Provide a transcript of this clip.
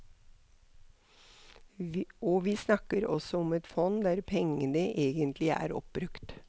Og vi snakker altså om et fond der pengene egentlig er oppbrukt.